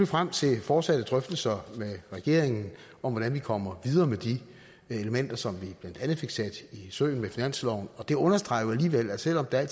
frem til fortsatte drøftelser med regeringen om hvordan vi kommer videre med de elementer som vi blandt andet fik sat i søen med finansloven og det understreger jo at selv om der i